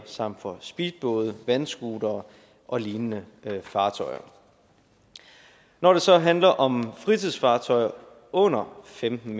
samt for speedbåde vandscootere og lignende fartøjer når det så handler om fritidsfartøjer under femten